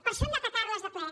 per això hem d’atacar les de ple